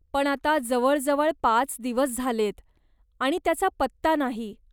पण आता जवळजवळ पाच दिवस झालेयत आणि त्याचा पत्ता नाही.